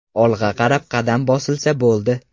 Olg‘a qarab qadam bosilsa bo‘ldi.